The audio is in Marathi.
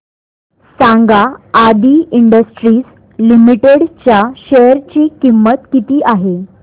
सांगा आदी इंडस्ट्रीज लिमिटेड च्या शेअर ची किंमत किती आहे